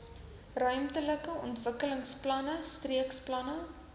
ruimtelike ontwikkelingsplanne streekplanne